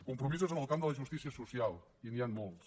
compromisos en el camp de la justícia social i n’hi han molts